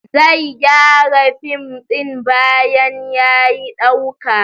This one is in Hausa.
Zai gyara fim din bayan ya yi dauka.